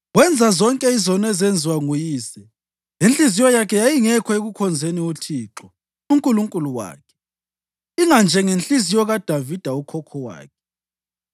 Wenza zonke izono ezazisenziwa nguyise, inhliziyo yakhe yayingekho ekukhonzeni uThixo uNkulunkulu wakhe, inganjengenhliziyo kaDavida ukhokho wakhe.